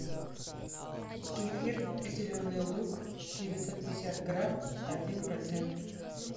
кефир зеленый луг девятьсот пятьдесят грамм один процент